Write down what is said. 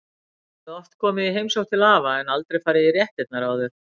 Ég hafði oft komið í heimsókn til afa en aldrei farið í réttirnar áður.